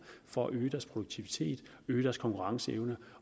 for at øge deres produktivitet øge deres konkurrenceevne